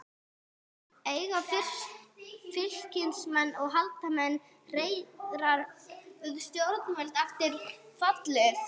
Eiga Fylkismenn að halda Hemma Hreiðars við stjórnvölinn eftir fallið?